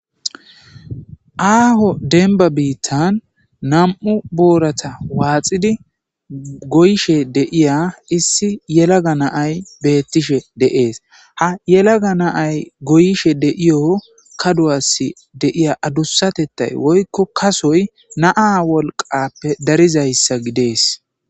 Aaho denba biittan nam7u boorata waaxidi goyishe deiya issi yelaga naay beettishe deees ha yelaga naay goyishe deiyo kaduwassi deiya adussatettay woykko kasoy naa wolqappe darizayssa gidees